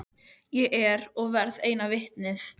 Ég er og verð eina vitnið.